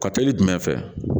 Ka teli jumɛn fɛ